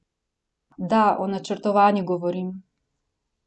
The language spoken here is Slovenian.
Da, o načrtovanju govorim.